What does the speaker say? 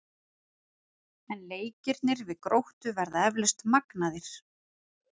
En leikirnir við Gróttu verða eflaust magnaðir.